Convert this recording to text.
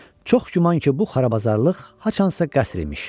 Çox güman ki, bu xarabazarlıq haçansa qəsr imiş.